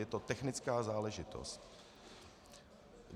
Je to technická záležitost.